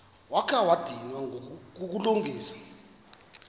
wakha wadinwa kukulungisa